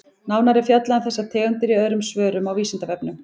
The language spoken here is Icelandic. Nánar er fjallað um þessar tegundir í öðrum svörum á Vísindavefnum.